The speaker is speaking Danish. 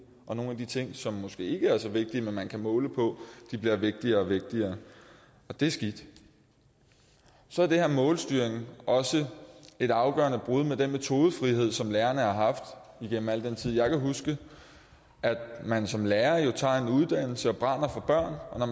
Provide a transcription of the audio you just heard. og nogle af de ting som måske ikke er så vigtige man kan måle på bliver vigtigere og vigtigere og det er skidt så er målstyring også et afgørende brud med den metodefrihed som lærerne har haft igennem al den tid jeg kan huske altså at man som lærer tager en uddannelse og brænder for børn og